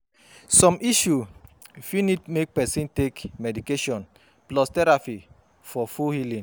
Som issue fit nid mek pesin take medication plus therapy for full healing